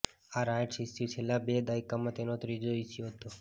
આ rights issue છેલ્લા બે દાયકામાં તેનો ત્રીજો ઇશ્યૂ હતો